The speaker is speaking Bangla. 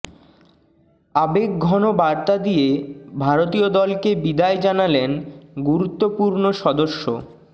আবেগঘন বার্তা দিয়ে ভারতীয় দলকে বিদায় জানালেন গুরুত্বপূর্ণ সদস্য